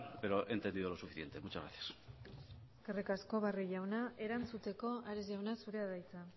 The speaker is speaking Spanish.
pero he entendido lo suficiente muchas gracias eskerrik asko barrio jauna erantzuteko ares jauna zurea da hitza